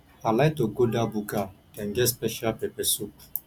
i like to go dat buka dem get special pepper soup